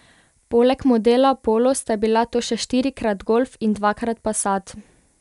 Poleg modela polo sta bila to še štirikrat golf in dvakrat passat.